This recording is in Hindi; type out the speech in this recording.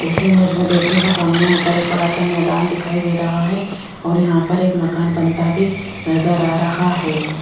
इस इमेज में देखिएगा सामने एक बड़ा सा मैदान दिखाई दे रहा है और यहां पर एक मकान बनता भी नजर आ रहा है।